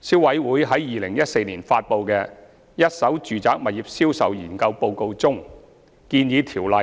消委會在2014年發布的《一手住宅物業銷售研究報告》中建議，《條例》